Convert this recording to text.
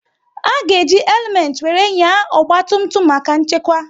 A ga eji helumet wéré nyaa ọgba tum tum maka nchekwa